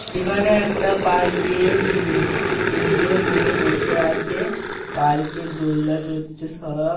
এখানে একটা পার্ক -এ উম তিনটে মেয়ে বসে আছে পার্ক -এ দোলনা চড়ছে সব।